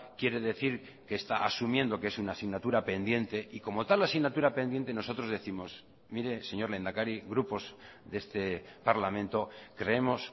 quiere decir que está asumiendo que es una asignatura pendiente y como tal asignatura pendiente nosotros décimos mire señor lehendakari grupos de este parlamento creemos